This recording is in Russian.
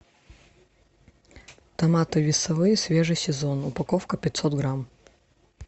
томаты весовые свежий сезон упаковка пятьсот грамм